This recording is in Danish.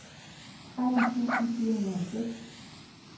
tretten tusind fire hundrede og seks